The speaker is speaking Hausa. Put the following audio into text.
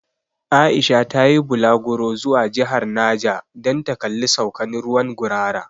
Aisha ta yi bulaguro zuwa jihar Naja dan ta kalli saukan ruwan 'Gurara'.